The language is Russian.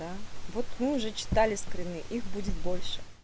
та вот мы уже читали скрины их будет больше